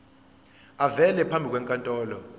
avele phambi kwenkantolo